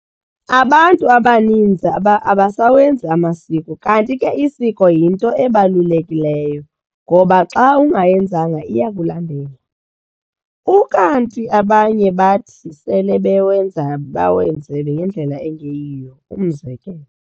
Abantu abaninzi abasawenzi amasiko kanti ke isiko yinto ebalulekileyo ngoba xa ungayenzanga iyakulandela, ukanti abanye bathi sele bewenza bawenze ngendlela engeyiyo umzekelo.